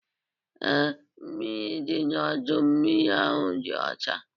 Ee, mmiri dị n'ọdọ mmiri ahụ dị ọcha.